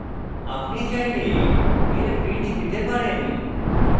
আপনি চাইলে এর printout নিতে পারেন